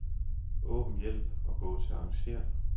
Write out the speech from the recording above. Åbn hjælp og gå til arrangér.